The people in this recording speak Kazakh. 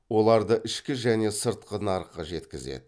оларды ішкі және сыртқы нарыққа жеткізеді